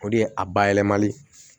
O de ye a bayɛlɛmali